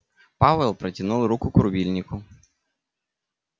пауэлл протянул руку к рубильнику